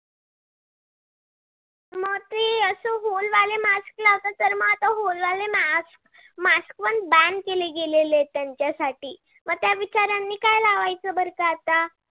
mask mask पण ban केले गेलेलेत त्यांच्यासाठी म त्या बिचार्यांनी काय लावायचं बर का आता?